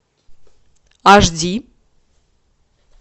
аш ди